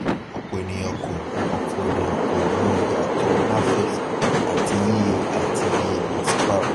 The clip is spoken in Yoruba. ọpọ ènìyàn kò ọpọ ènìyàn kò mọ iyatọ nafex àti ie àti iye ipàsípaàrò